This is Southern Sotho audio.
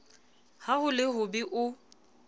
ha ho le hobe o